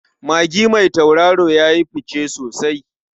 Magi mai tauraro ya yi fice sosai.